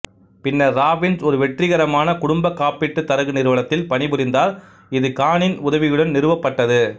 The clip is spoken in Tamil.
பின்னர் ராபின்ஸ் ஒரு வெற்றிகரமான குடும்ப காப்பீட்டு தரகு நிறுவனத்தில் பணிபுரிந்தார் இது கானின் உதவியுடன் நிறுவப்பட்டது